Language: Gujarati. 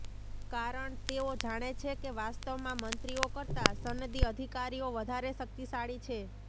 કારણ તેઓ જાણે છે કે વાસ્તવમાં મંત્રીઓ કરતા સનદી અધિકારીઓ વધારે શકિતશાળી છે